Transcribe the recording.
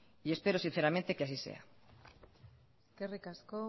espero sinceramente que así sea eskerrik asko